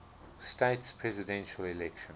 states presidential election